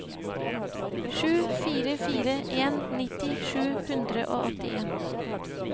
sju fire fire en nitti sju hundre og åttien